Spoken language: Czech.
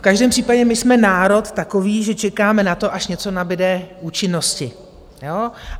V každém případě my jsme národ takový, že čekáme na to, až něco nabyde účinnosti.